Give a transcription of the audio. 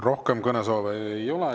Rohkem kõnesoove ei ole.